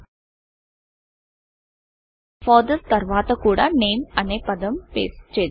Fathersఫాదర్స్ తర్వాత కూడా nameనేమ్ అనే పదం పేస్టు చేద్దాం